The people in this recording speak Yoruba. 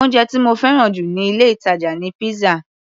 Oúnjẹ tí mo fẹ́ràn jù níh ilé-ìtàjà ni pizza.